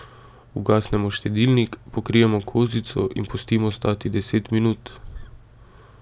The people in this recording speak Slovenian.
Ugasnemo štedilnik, pokrijemo kozico in pustimo stati deset minut.